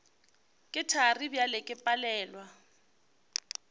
ke thari bjale ke palelwa